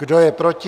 Kdo je proti?